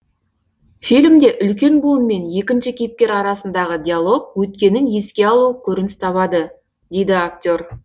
фильмде үлкен буын мен екінші кейіпкер арасындағы диалог өткенін еске алу көрініс табады дейді актер